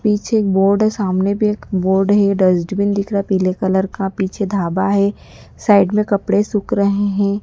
पीछे एक बोर्ड सामने भी एक बोर्ड है ये डस्टबिन दिख रहा पीले कलर का पीछे ढाबा है साइड में कपड़े सूख रहे हैं।